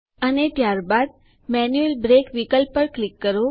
અને ત્યારબાદ manual break વિકલ્પ પર ક્લિક કરો